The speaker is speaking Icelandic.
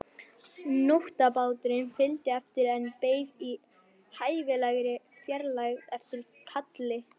Nótabáturinn fylgdi eftir en beið í hæfilegri fjarlægð eftir kalli.